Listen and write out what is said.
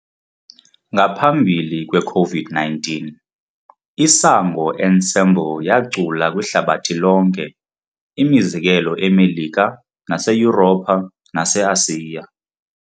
Ngaphambili kweCOVID-19, i-Isango Ensemble yacula kwihlabathi lonke, imizekelo eMelika naseYuropha naseAsiya.